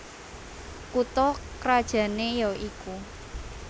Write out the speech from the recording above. Kutha krajané ya iku